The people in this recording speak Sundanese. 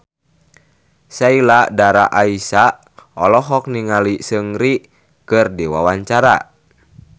Sheila Dara Aisha olohok ningali Seungri keur diwawancara